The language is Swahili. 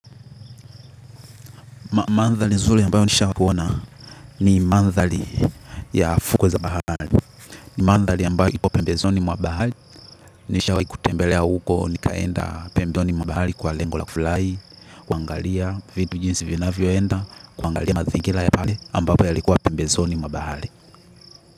Mandhari nzuri ambayo nisha kuona ni mandhari ya fukwe za bahali. Mandhali ambayo ipo pembezoni mwabahali. Nishawai kutembelea huko nikaenda pembezoni mwa bahali kwa lengo la kufulai. Kuangalia vitu jinsi vinavyoenda, kuangalia mazingira ya pale ambapo yalikuwa pembezoni mwa bahari.